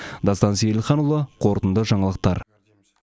дастан сейілханұлы қорытынды жаңалықтар